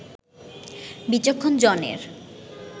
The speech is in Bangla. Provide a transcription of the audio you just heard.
বিচক্ষণ জনের